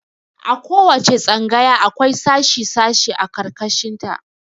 A ko wace tsangaya akwai sashi sashi a ƙarƙashin ta.